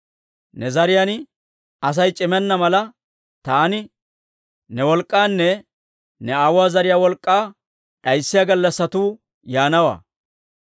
Ne zariyaan Asay c'imenna mala, taani ne wolk'k'aanne ne aawuwaa zariyaa wolk'k'aa d'ayssiyaa gallassatuu yaanawaa.